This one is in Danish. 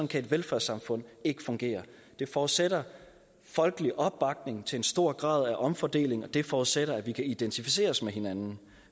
kan et velfærdssamfund ikke fungere det forudsætter folkelig opbakning til en stor grad af omfordeling og det forudsætter at vi kan identificere os med hinanden